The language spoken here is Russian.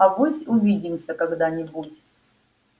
авось увидимся когда-нибудь